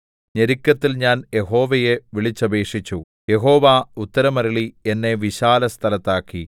ഞെരുക്കത്തിൽ ഞാൻ യഹോവയെ വിളിച്ചപേക്ഷിച്ചു യഹോവ ഉത്തരമരുളി എന്നെ വിശാലസ്ഥലത്താക്കി